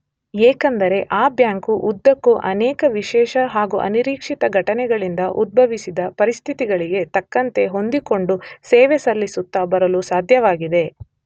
ಏಕೆಂದರೆ ಆ ಬ್ಯಾಂಕು ಉದ್ದಕ್ಕೂ ಅನೇಕ ವಿಶೇಷ ಹಾಗೂ ಅನಿರೀಕ್ಷಿತ ಘಟನೆಗಳಿಂದ ಉದ್ಭವಿಸಿದ ಪರಿಸ್ಥಿತಿಗಳಿಗೆ ತಕ್ಕಂತೆ ಹೊಂದಿಕೊಂಡು ಸೇವೆ ಸಲ್ಲಿಸುತ್ತ ಬರಲು ಸಾಧ್ಯವಾಗಿದೆ.